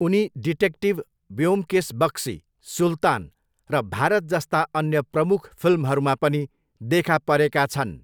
उनी डिटेक्टिभ ब्योमकेस बक्सी, सुल्तान र भारत जस्ता अन्य प्रमुख फिल्महरूमा पनि देखा परेका छन्।